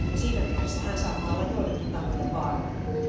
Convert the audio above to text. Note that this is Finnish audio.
Siinä mielessä hän saattaa olla joillekin tahoille vaarallinen.